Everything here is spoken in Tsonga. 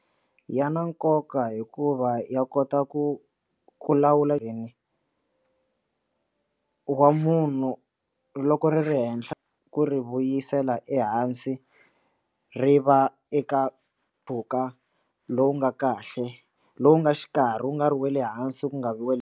Ya na nkoka hikuva ya kota ku ku lawula ndzeni ka wa munhu loko ri ri henhla ku ri vuyisela ehansi ri va eka mpfhuka lowu nga kahle lowu nga xikarhi wu nga ri wa le hansi ku nga vi wa.